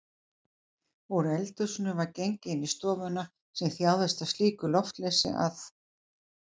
Úr eldhúsinu var gengið inn í stofuna sem þjáðist af slíku loftleysi að